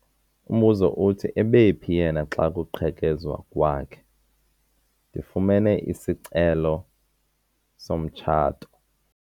Umbuzo uthi ebephi yena xa kuqhekezwa kwakhe? ndifumene isicelo somtshato